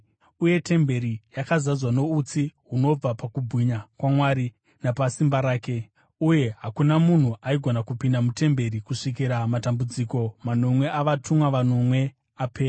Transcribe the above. Uye temberi yakazadzwa noutsi hunobva pakubwinya kwaMwari napasimba rake, uye hakuna munhu aigona kupinda mutemberi kusvikira matambudziko manomwe avatumwa vanomwe apera.